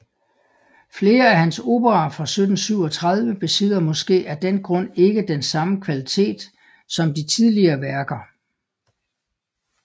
Flere af hans operaer fra 1737 besidder måske af den grund ikke den samme kvalitet som de tidligere værker